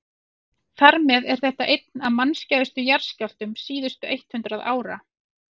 þar með er þetta einn af mannskæðustu jarðskjálftum síðustu eitt hundruð ára